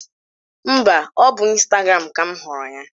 Mba, ọ bụ n'Ịstagram ka m hụrụ ya